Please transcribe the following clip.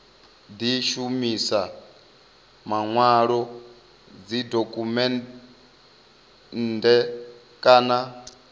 di shumisa manwalo dzidokhumennde kana